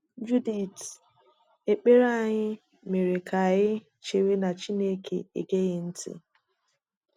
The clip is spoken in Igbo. Judith: Ekpere anyị mere ka anyị chewe na Chineke egeghị ntị.